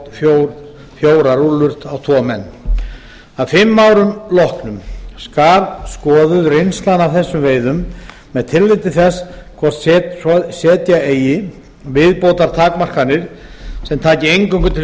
þá fjórar rúllur á tvo menn að fimm árum loknum skal skoðuð reynslan af þessum veiðum með tilliti til þess hvort setja eigi viðbótartakmarkanir sem taki eingöngu til